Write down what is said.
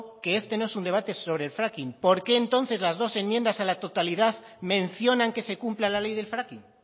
que este no es un debate sobre el fracking por qué entonces las dos enmiendas en la totalidad mencionan que se cumpla la ley del fracking